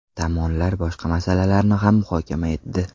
Tomonlar boshqa masalalarni ham muhokama etdi.